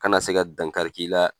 Kana se ka dankari k'i la